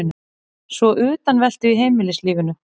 Svo utanveltu í heimilislífinu.